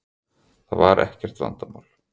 Það var ekkert vandamál.